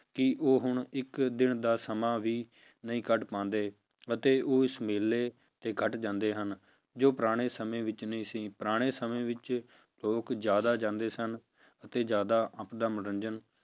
ਕਿ ਉਹ ਹੁਣ ਇੱਕ ਦਿਨ ਦਾ ਸਮਾਂ ਵੀ ਨਹੀਂ ਕੱਢ ਪਾਉਂਦੇ ਅਤੇ ਉਸ ਮੇਲੇ ਤੇ ਘੱਟ ਜਾਂਦੇ ਹਨ, ਜੋ ਪੁਰਾਣੇ ਸਮੇਂ ਵਿੱਚ ਨਹੀਂ ਸੀ, ਪੁਰਾਣੇ ਸਮੇਂ ਵਿੱਚ ਲੋਕ ਜ਼ਿਆਦਾ ਜਾਂਦੇ ਸਨ ਅਤੇ ਜ਼ਿਆਦਾ ਆਪਦਾ ਮਨੋਰੰਜਨ